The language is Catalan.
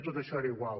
tot això era igual